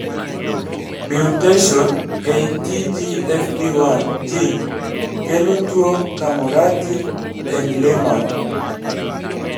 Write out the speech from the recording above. Mutation ei TGFB1 gene kelo tuo Camurati Englemann